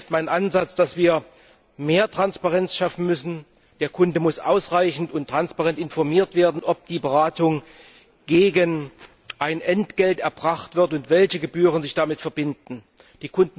Daher ist mein Ansatz, dass wir mehr Transparenz schaffen müssen Der Kunde muss ausreichend und transparent informiert werden, ob die Beratung gegen ein Entgelt erbracht wird und welche Gebühren damit verbunden sind.